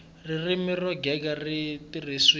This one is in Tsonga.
ririmi ro gega ri tirhisiwile